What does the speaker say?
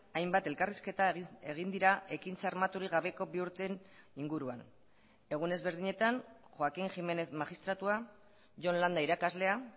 hainbat elkarrizketa egin dira ekintza armaturik gabeko bi urteen inguruan egun ezberdinetan joaquín gímenez magistratua jon landa irakaslea